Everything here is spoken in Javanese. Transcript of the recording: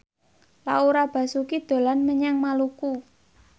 Laura Basuki dolan menyang Maluku